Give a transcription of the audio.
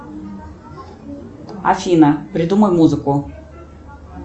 афина придумай музыку